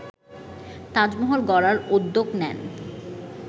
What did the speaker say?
তাজমহল গড়ার উদ্যোগ নেন